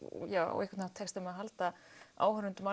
á einhvern hátt tekst þeim að halda áhorfendum